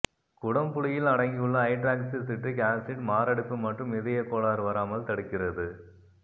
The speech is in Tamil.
குடம் புளியில் அடங்கியுள்ள ஹைட்ராக்சி சிட்ரிக் ஆசிட் மாரடைப்பு மற்றும் இதய கோளாறு வராமல் தடுக்கிறது